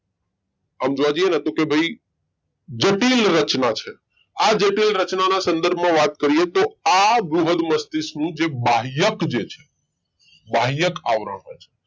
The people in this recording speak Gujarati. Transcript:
આમ જોવા જઈએ ન તો કે ભાઈ જટિલ રચના છે આ જટિલ રચનાના સંદર્ભમાં વાત કરીએ તો આ બૃહદ મસ્તિષ્ક નું જે બાહ્યક જે છે બાહ્યક આવરણ